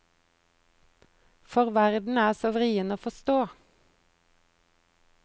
For verden er så vrien å forstå.